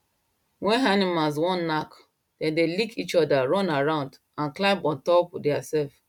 when animals wan knack dem dey lick each other run around and climb on top theirself